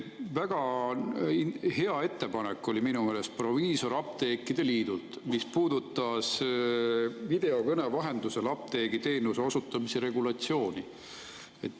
Väga hea ettepanek oli minu meelest proviisorapteekide liidult, mis puudutas videokõne vahendusel apteegiteenuse osutamise regulatsiooni.